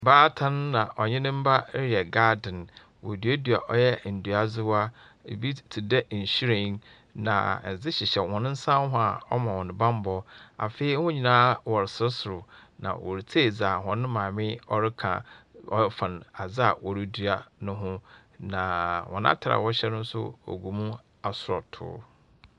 Ɔbaatan na ɔne ne mba wɔreyɛ garden. Wɔreduadua ɔyɛ nduadzewa. Ebi te dɛ nhwiren na adze hyehyɛ hɔn nsa ho a ɔma hɔn bambɔ. Afei wɔn nyinaa wɔresereserew, na wɔretsie dza hɔn maame ɔreka afan adze a wɔredua no ho, na wɔn atar a wɔhyɛ no nso ɔgu mu asɔɔtoo.